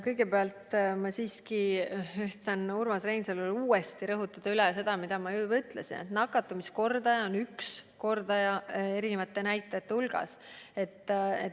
Kõigepealt ma üritan Urmas Reinsalule uuesti rõhutada seda, mida ma juba ütlesin: nakatumiskordaja on üks näitaja mitme näitaja hulgas.